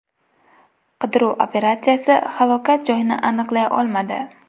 Qidiruv operatsiyasi halokat joyini aniqlay olmadi.